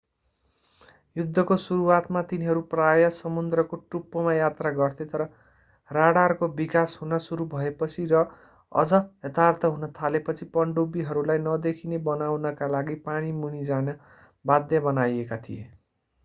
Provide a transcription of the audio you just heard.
युद्धको सुरुवातमा तिनीहरू प्राय समुद्रको टुप्पोमा यात्रा गर्थे तर राडरको विकास हुन सुरु भएपछि र अझ यथार्थ हुन थालेपछि पनडुब्बीहरूलाई नदेखिने बनाउनका लागि पानी मुनि जान बाध्य बनाइएका थिए